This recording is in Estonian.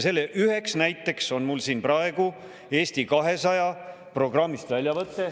Selle üheks näiteks on mul siin praegu väljavõte Eesti 200 programmist.